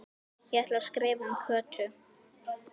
Ég ætla að skrifa um Kötu